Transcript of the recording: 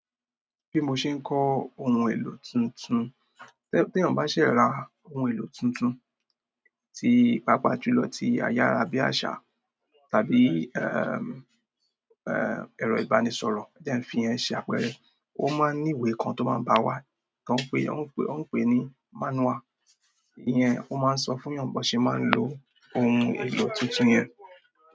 Bí mo ṣe ń kọ ohun èlò tuntun, tí èèyàn bá ṣe ra ohun èlò tuntun pàápàá jùlọ tí ayára bí àṣà tàbí ẹ̀rọ ìbánisọ̀rọ̀ ó máa ń ní ìwé kan tó ń baa waa won pè ni manual. Iyẹn ó máa ń sọ fún ènìyàn bó ṣe máa ń lo ohun èlò tuntun yẹn.